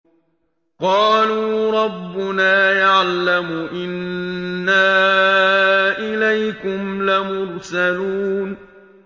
قَالُوا رَبُّنَا يَعْلَمُ إِنَّا إِلَيْكُمْ لَمُرْسَلُونَ